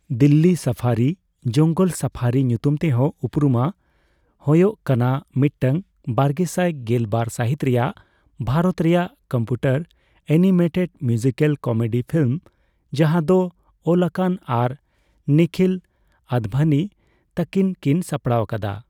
Delhi safari (ᱡᱚᱝᱜᱚᱞ safari ᱧᱩᱛᱩᱢᱛᱮᱦᱚᱸ ᱩᱯᱨᱩᱢᱟ ) ᱦᱳᱭᱳᱜ ᱠᱟᱱᱟ ᱢᱤᱫᱴᱟᱝ ᱵᱟᱨᱜᱮᱥᱟᱭ ᱜᱮᱞ ᱵᱟᱨ ᱥᱟᱹᱦᱤᱛ ᱨᱮᱭᱟᱜ ᱵᱷᱨᱚᱛ ᱨᱮᱭᱟᱜ computer animated musical comedy film ᱡᱟᱦᱟᱸ ᱫᱚ ᱚᱞᱟᱠᱟᱱ ᱟᱨ ᱱᱤᱠᱷᱤᱞ ᱟᱫᱵᱷᱟᱱᱤ ᱛᱟᱠᱤᱱ ᱠᱤᱱ ᱥᱟᱯᱲᱟᱣ ᱟᱠᱟᱫᱟ ᱾